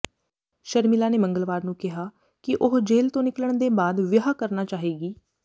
ਸ਼ਰਮਿਲਾ ਨੇ ਮੰਗਲਵਾਰ ਨੂੰ ਕਿਹਾ ਕਿ ਉਹ ਜੇਲ੍ਹ ਤੋਂ ਨਿਕਲਣ ਦੇ ਬਾਅਦ ਵਿਆਹ ਕਰਨਾ ਚਾਹੇਗੀ